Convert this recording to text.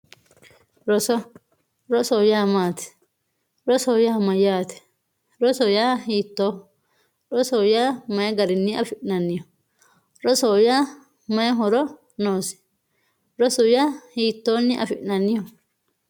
roso rosoho yaa maati rosoho yaa mayaate rosoho yaa hiitooho rosoho yaa mayi garinni affi'nanniho rosoho yaa mayi horo noosi rosu yaa hitooni afi'nanniho